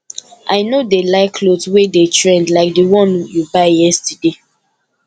i no dey like cloth wey dey trend like the one you buy yesterday